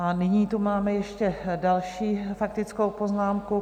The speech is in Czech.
A nyní tu máme ještě další faktickou poznámku.